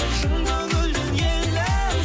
шын көңілден елім